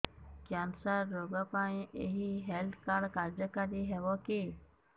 cancer ରୋଗ ପାଇଁ ଏଇ ହେଲ୍ଥ କାର୍ଡ କାର୍ଯ୍ୟକାରି ହେବ କି